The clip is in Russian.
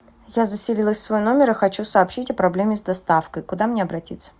я заселилась в свой номер и хочу сообщить о проблеме с доставкой куда мне обратиться